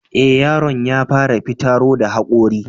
E, yaron ya fara fitaro da haƙori.